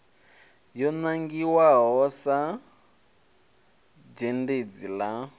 yo nangiwa sa zhendedzi ḽa